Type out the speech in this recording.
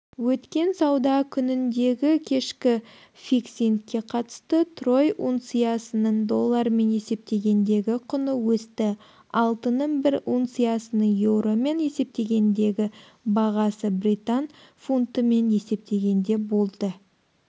өткен сауда күніндегікешкі фиксингке қатысты трой унциясының доллармен есептегендегі құны өсті алтынның бір унциясының еуромен есептегендегі бағасы британ фунтымен есептегенде болды